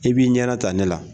E b'i ɲɛna ta ne la.